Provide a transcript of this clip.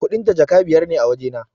Kuɗin ta Jaka biyar ne a wajena